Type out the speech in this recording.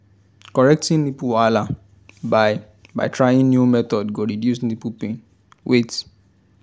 correcting nipple wahala by by trying new method go reduce nipple pain wait